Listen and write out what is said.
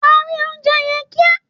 Parí oúnje yen kia